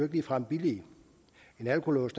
ligefrem billige en alkolås